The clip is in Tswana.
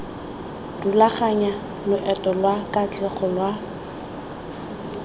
rulaganya loeto lwa katlego lwa